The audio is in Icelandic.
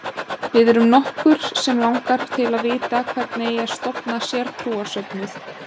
Við erum nokkur sem langar til að vita hvernig eigi að stofna sértrúarsöfnuð?